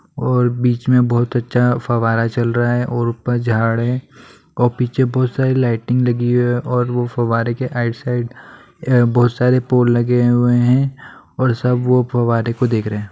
और बीच मे बहुत अच्छा फवारा चल रहा है और ऊपर झाड़ है और पीछे बहुत सारी लाइटिंग लगी हुई है और वो फवारे के आइड साइड अ बहुत सारे पोल लगे हुए है और सब वो फवारे को देख रहे है।